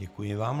Děkuji vám.